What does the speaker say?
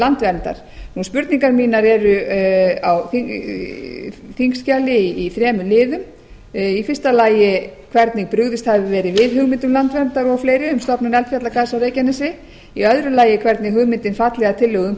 landverndar spurningar mínar eru á þingskjali í þremur liðum í fyrsta lagi hvernig brugðist hafi verið við hugmyndum landverndar og fleiri um stofnun eldfjallagarðs á reykjanesi í öðru lagi hvernig hugmyndin falli að tillögum